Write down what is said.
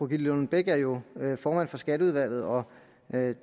lillelund bech er jo formand for skatteudvalget og